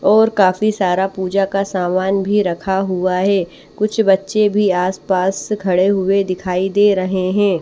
और काफी सारा पूजा का सामान भी रखा हुआ है कुछ बच्चे भी आसपास खड़े हुए दिखाई दे रहे हैं।